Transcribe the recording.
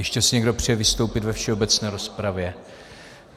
Ještě si někdo přeje vystoupit ve všeobecné rozpravě?